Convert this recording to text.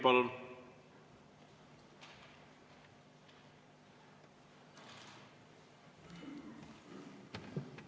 Palun!